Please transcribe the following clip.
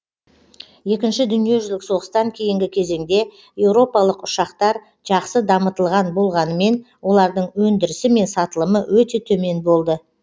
екінші дүниежүзілік соғыстан кейінгі кезеңде еуропалық ұшақтар жақсы дамытылған болғанымен олардың өндірісі мен сатылымы өте төмен болды